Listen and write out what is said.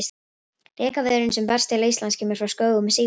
Rekaviðurinn sem berst til Íslands kemur frá skógum Síberíu.